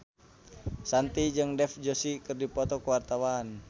Shanti jeung Dev Joshi keur dipoto ku wartawan